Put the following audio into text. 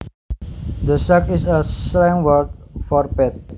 The sack is a slang word for bed